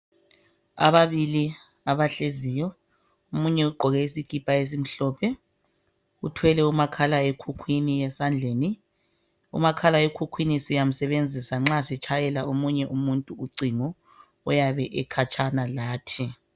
Ababili abahleziyo omunye ugqoke isikipa esimhlophe uthwele umakhalekhukhwini esandleni, umakhala ekhukhwini siyamsebenzisa nxa sitshayela omunye umuntu ucingo oyabe ekhatshana lathi.